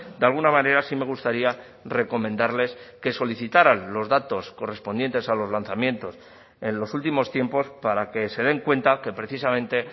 de alguna manera sí me gustaría recomendarles que solicitaran los datos correspondientes a los lanzamientos en los últimos tiempos para que se den cuenta que precisamente